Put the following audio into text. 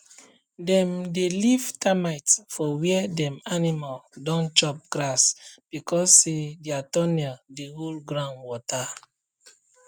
dem dey leave termite for where dem animal don chop grass because say dia tunnel dey hold ground water